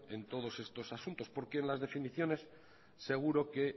en todos estos asuntos porque en las definiciones seguro que